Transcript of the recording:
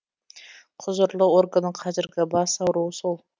құзырлы органның қазіргі бас ауруы сол